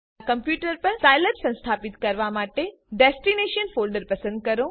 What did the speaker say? તમારા કમ્પ્યુટર પર સાઈલેબ સંસ્થાપિત કરવા માટે ડેસ્ટીનેશન ફોલ્ડર પસંદ કરો